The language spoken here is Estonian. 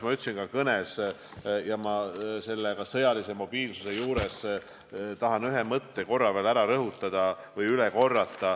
Ma ütlesin seda ka oma kõnes ja sõjalisest mobiilsusest rääkides tahan ühte mõtet korra veel rõhutada.